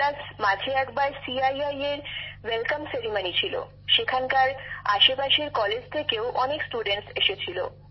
এছাড়াও মাঝে একবার সিআইআইএর অভ্যর্থনা কর্মসূচী ছিল সেখানকার আশেপাশের কলেজ থেকেও অনেক ছাত্রছাত্রী এসেছিল